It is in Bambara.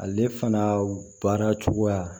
Ale fana baara cogoya